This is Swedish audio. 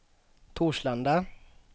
Torslanda